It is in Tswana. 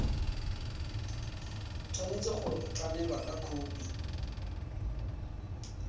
tshwanetse go tlamelwa ka khophi